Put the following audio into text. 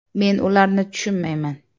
“Men ularni tushunmayman.